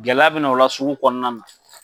Gɛlɛya bɛna o la sugu kɔnɔna na.